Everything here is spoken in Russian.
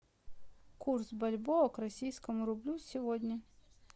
курс бальбоа к российскому рублю сегодня